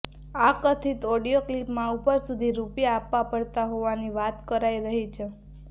આ કથિત ઓડિયો ક્લિપમાં ઉપર સુધી રૂપિયા આપવા પડતા હોવાની વાત કરાઇ રહી છે